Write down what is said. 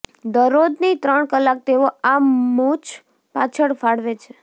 દરરોજની ત્રણ કલાક તેઓ આ મુંછ પાછળ ફાળવે છે